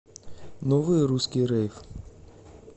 новый русский рейв